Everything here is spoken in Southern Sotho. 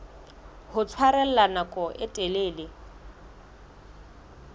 ho tshwarella nako e telele